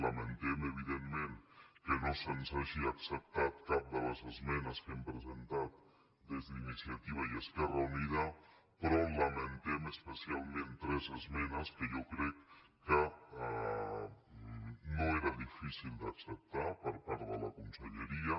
la·mentem evidentment que no se’ns hagi acceptat cap de les esmenes que hem presentat des d’iniciativa i esquerra unida però lamentem especialment tres es·menes que jo crec que no eren difícils d’acceptar per part de la conselleria